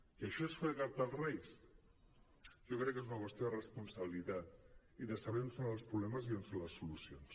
i això és fer carta als reis jo crec que és una qüestió de responsabilitat i de saber on són els problemes i on són les solucions